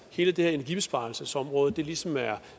hele det her energibesparelsesområde ligesom er